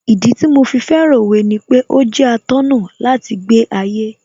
Ìdí tí mo fi fẹ́ràn Òwe ni pé ó jẹ́ atọ́nà láti gbé ayé